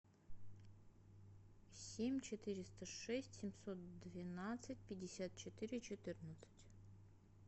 семь четыреста шесть семьсот двенадцать пятьдесят четыре четырнадцать